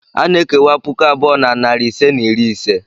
A na-ekewa puku abụọ na narị ise na iri ise.